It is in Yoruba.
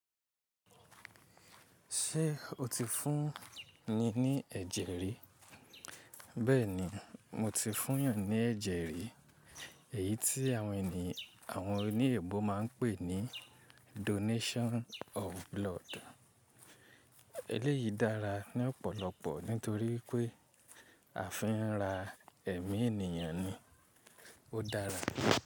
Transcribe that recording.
Ṣé o ti fún ni ní ẹ̀jẹ̀ rí? Bẹ́ẹ̀ni, mo ti fún eyan ní ẹ̀jẹ̀ rí. Èyí tí àwọn ènìyàn àwọn oní èèbó máa ń pè ní donation of blood. Eléyìí dára ní ọ̀pọ̀lọpọ̀ nítorí pé a fi ń ra ẹ̀mí ènìyàn ni. Ó dára.